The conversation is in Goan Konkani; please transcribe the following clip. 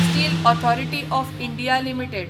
steel authority of India limited